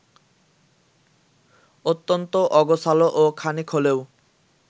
অত্যন্ত অগোছালো ও খানিক হলেও